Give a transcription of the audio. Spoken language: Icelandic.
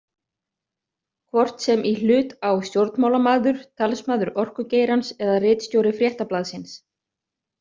Hvort sem í hlut á stjórnmálamaður, talsmaður orkugeirans eða ritstjóri Fréttablaðsins.